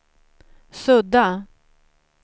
sudda